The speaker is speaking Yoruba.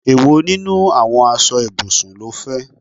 Èwo nínú àwọn aṣọ ibùsùn ló fẹ?